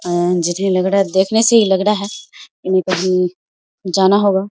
जिन्हे लग रहा है देखने से ही लग रहा है इन्हे कही जाना होगा --